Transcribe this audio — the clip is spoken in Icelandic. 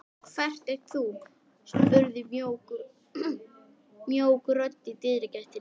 Hver ert þú? spurði mjúk rödd í dyragættinni.